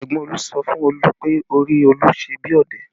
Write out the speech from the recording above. Ẹ̀gbọ́n Olu sọ fún Olu pé orí Olu ṣe bí ọ̀dẹ̀